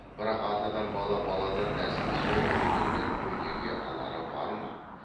бірақ атадан бала баладан нәсіл сол көргеннен өнеге алары бар ма